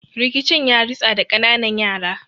Rikicin yaritsa da kananan yara